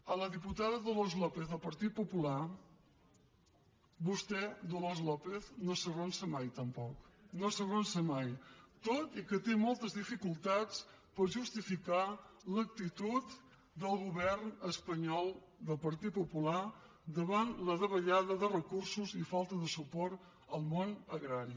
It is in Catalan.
a la diputada dolors lópez del partit popular vostè dolors lópez no s’arronsa mai tampoc no s’arronsa mai tot i que té moltes dificultats per justificar l’actitud del govern espanyol del partit popular davant la davallada de recursos i falta de suport al món agrari